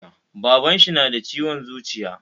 Baban shi nada ciwon zuciya